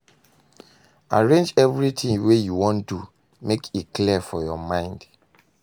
Arrange evritin wey you wan do mek e clear for yur mind